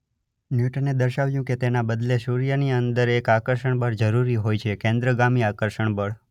ન્યૂટને દર્શાવ્યું કે તેના બદલે સૂર્યની અંદર એક આકર્ષણબળ જરૂરી હોય છે કેન્દ્રગામી આકર્ષણ બળ .